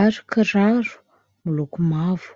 ary kiraro miloko mavo.